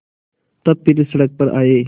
तब फिर सड़क पर आये